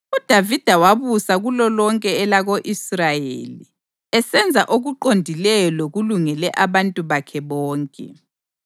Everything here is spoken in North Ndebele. UDavida wabusa kulolonke elako-Israyeli, esenza okuqondileyo lokulungele abantu bakhe bonke.